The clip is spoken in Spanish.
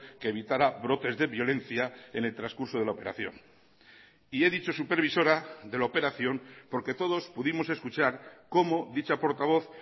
que evitara brotes de violencia en el transcurso de la operación y he dicho supervisora de la operación porque todos pudimos escuchar cómo dicha portavoz